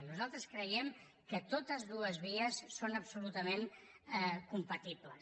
nosaltres creiem que totes dues vies són absolutament compatibles